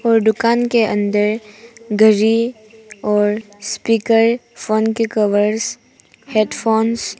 और दुकान के अंदर घड़ी और स्पीकर फोन के कवर्स हेडफोन्स ।